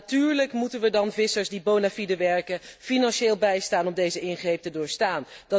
En natuurlijk moeten wij dan vissers die bonafide werken financieel bijstaan om deze ingreep te doorstaan.